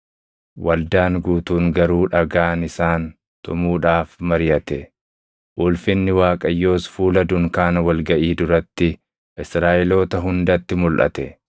Waldaan guutuun garuu dhagaan isaan tumuudhaaf mariʼate. Ulfinni Waaqayyoos fuula dunkaana wal gaʼii duratti Israaʼeloota hundatti mulʼate.